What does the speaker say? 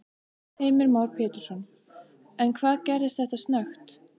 Heimir Már Pétursson: En hvað gerist þetta snöggt?